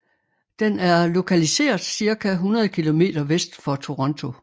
Den er lokaliseret cirka 100 km vest for Toronto